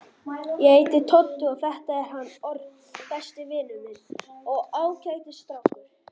Ég heiti Tóti og þetta er hann Örn, besti vinur minn og ágætis strákur.